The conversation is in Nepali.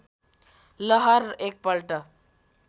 लहर एकपल्ट